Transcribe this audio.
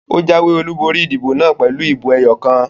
Ó jáwé olúborí ìdìbò naa pèlú ìbò ẹyọ kan